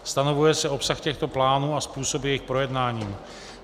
Stanovuje se obsah těchto plánů a způsob jejich projednání.